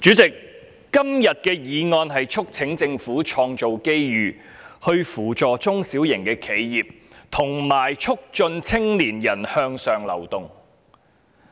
主席，今天的議案題目是"創造機遇扶助中小型企業及促進青年人向上流動"。